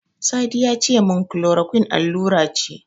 Sadi yace min Chloroquine allura ce.